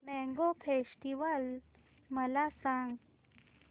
mango festival मला सांग